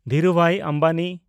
Dhirubhai Ambani